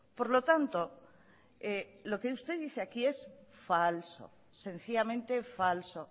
por lo tanto lo que usted dice aquí es falso sencillamente falso